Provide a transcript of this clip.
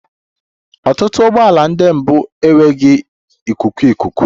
Ọtụtụ ụgbọ ala ndị mbụ enweghị ikuku ikuku